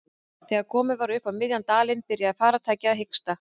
Þegar komið var upp á miðjan dalinn byrjaði farartækið að hiksta.